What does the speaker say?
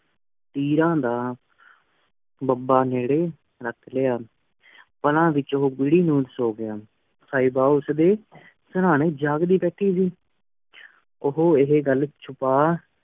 ਪੀਰਾਂ ਦਾ ਦਬਾ ਨਿਰੀ ਰਖ ਲੇਯ ਟੀ ਘੂਰੀ ਨਾਦ ਸੋ ਗੇਆਯ ਸਿਬਾ ਉਸ ਡੀ ਸਰ੍ਨ੍ਯਨ ਜਾਗਦੀ ਭਠੀ ਸੀ ਉਹੁ ਏਹੀ ਘਲ ਛੁਪਾ